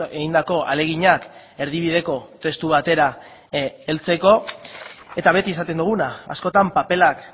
egindako ahaleginak erdibideko testu batera heltzeko eta beti esaten duguna askotan paperak